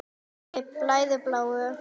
Mér blæðir bláu.